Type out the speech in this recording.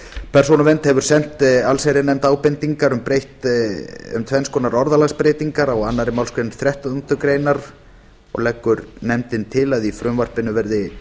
persónuvernd hefur sent allsherjarnefnd ábendingar um tvenns konar orðalagsbreytingar á annarri málsgrein þrettándu greinar og leggur nefndin til að frumvarpinu verði